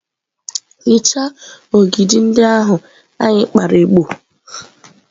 hichaa ogidi ndị ahụ anyị kpara igbo!.